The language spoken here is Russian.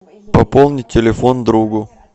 пополнить телефон другу